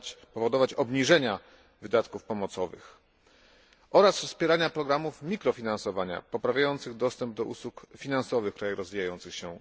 powodować obniżenia wydatków pomocowych, oraz wspierania programów mikrofinansowania, poprawiających dostęp do usług finansowych w krajach rozwijających się.